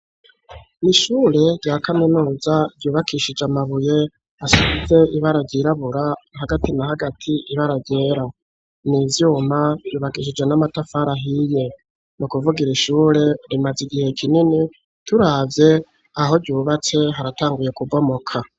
Ni ishure rya kaminuza ryubakishije amabuye asize ibara ryirabura, hagati na hagati ibara ryera. Ni ivyuma, ryubakishije n'amatafara hiye. Ni ukuvuga iri ishure rimaze igihe kinini, turavye aho ryubatse haratanguye kubomoka.